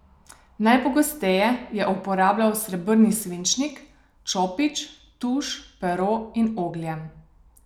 Najpogosteje je uporabljal srebrni svinčnik, čopič, tuš, pero in oglje.